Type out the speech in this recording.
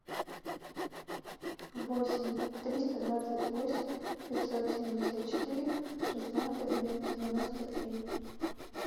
восемь триста двадцать восемь пятьсот семьдесят четыре шестнадцать девяносто три